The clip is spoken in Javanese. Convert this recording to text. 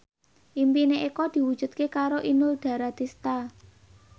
impine Eko diwujudke karo Inul Daratista